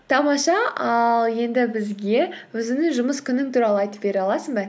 тамаша ал енді бізге өзіңнің жұмыс күнің туралы айтып бере аласың ба